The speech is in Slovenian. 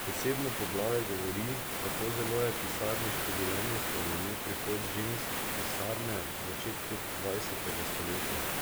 Posebno poglavje govori, kako zelo je pisarniško življenje spremenil prihod žensk v pisarne v začetku dvajsetega stoletja.